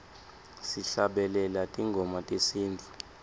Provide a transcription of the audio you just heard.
sihlabelela tingoma tesintfu